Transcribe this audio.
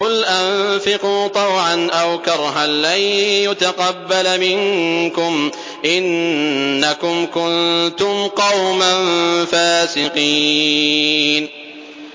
قُلْ أَنفِقُوا طَوْعًا أَوْ كَرْهًا لَّن يُتَقَبَّلَ مِنكُمْ ۖ إِنَّكُمْ كُنتُمْ قَوْمًا فَاسِقِينَ